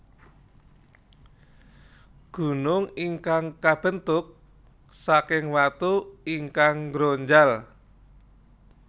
Gunung ingkang kabentuk saking watu ingkang nggronjal